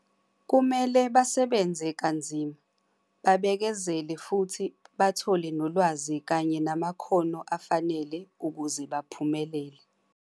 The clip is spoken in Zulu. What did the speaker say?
Kumele basebenze kanzima, babekezele futhi bathole nolwazi kanye namakhono afanele ukuze baphumelele.